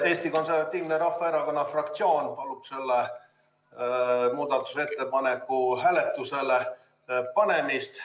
Eesti Konservatiivse Rahvaerakonna fraktsioon palub selle muudatusettepaneku hääletusele panemist.